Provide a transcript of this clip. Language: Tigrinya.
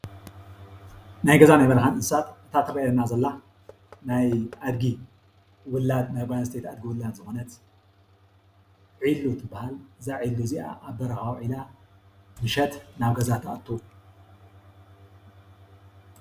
ናይ ገዛን ናይ በረኻን እንስሳት እታ ተርእየና ዘላ ናይ ኣድጊ ውላድ ናይ ጓል ኣንስተይቲ ውላድ ዝኾነት ዒሉ ትበሃል። እዛ ዒሉ እዚኣ ኣብ በረኻ ዊዒላ ምሸት ናብ ገዝኣ ትኣቱ ።